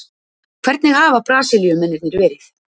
Hvernig hafa Brasilíumennirnir verið?